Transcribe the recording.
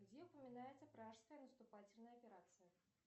где упоминается пражская наступательная операция